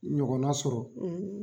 Ɲɔgɔnna sɔrɔ